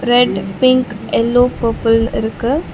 Red pink yellow purple இருக்கு.